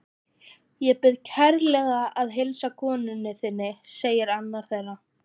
Ég bið kærlega að heilsa konu þinni sagði annar þeirra.